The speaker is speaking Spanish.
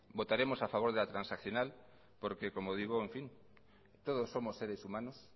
votaremos a favor de la transaccional porque como digo todos somos seres humanos